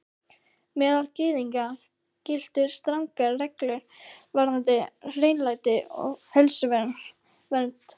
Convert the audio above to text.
Meðal Gyðinga giltu strangar reglur varðandi hreinlæti og heilsuvernd.